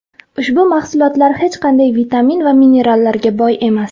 Ushbu mahsulotlar hech qanday vitamin va minerallarga boy emas.